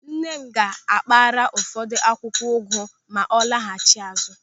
Nne m ga-akpara ụfọdụ akwụkwọ ụgụ ma ọ laghachi azụ.